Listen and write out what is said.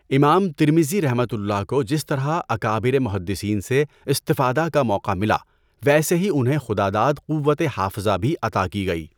امام ترمذیؒ کو جس طرح اکابر محدثین سے استفادہ کا موقع ملا، ویسے ہی انہیں خداداد قوتِ حافظہ بھی عطا کی گئی۔